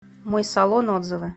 мой салон отзывы